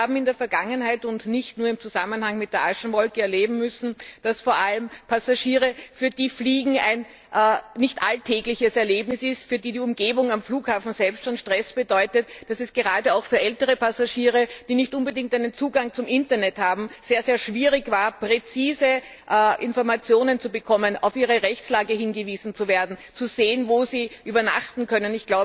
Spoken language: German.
Wir haben in der Vergangenheit und nicht nur im Zusammenhang mit der Aschewolke erleben müssen, dass es vor allem für Passagiere, für die Fliegen ein nicht alltägliches Erlebnis ist, für die die Umgebung am Flughafen selbst schon Stress bedeutet, dass es gerade auch für ältere Passagiere, die nicht unbedingt einen Zugang zum Internet haben, sehr schwierig war, präzise Informationen zu bekommen, auf ihre Rechtslage hingewiesen zu werden, zu sehen, wo sie übernachten können.